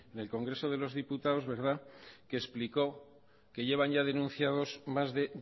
en el congreso de los diputados que explicó que llevan ya denunciados más de